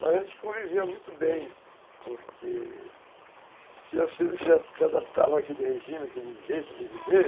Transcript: Mas a gente convivia muito bem, porque se adaptavam àquele regime, àquele jeito de viver,